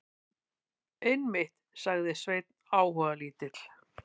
Einmitt, sagði Sveinn áhugalítill.